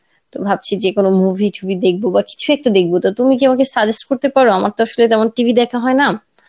তো ভাবছি যে কোনো movie ঠুভি দেখবো বা কিছু একটা দেখবো তা তুমি কি আমায় suggest করতে পারো আমার তো আসলে তেমন TV দেখা হয়না